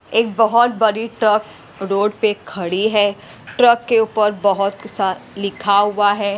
एक बहुत बड़ी ट्रक रोड पे खड़ी है ट्रक के ऊपर बहुत सा लिखा हुआ है।